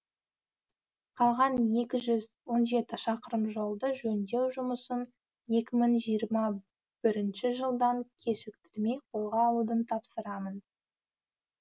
қалған екі жүз он жеті шақырым жолды жөндеу жұмысын екі мың жиырма бірінші жылдан кешіктірмей қолға алуды тапсырамын